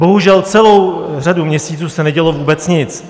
Bohužel, celou řadu měsíců se nedělo vůbec nic.